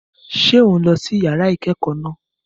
Ṣé ò ń lọ sí yàrá ìkẹ́kọ̀ọ́ náà?